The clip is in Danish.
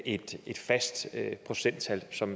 i et fast procenttal som